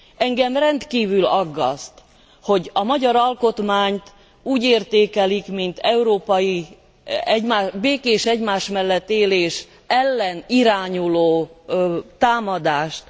Engem rendkívül aggaszt, hogy a magyar alkotmányt úgy értékelik, mint európai békés egymás mellett élés ellen irányuló támadást.